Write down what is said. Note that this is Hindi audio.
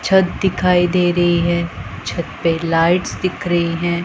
छत दिखाई दे रही है छत पे लाइट्स दिख रही हैं।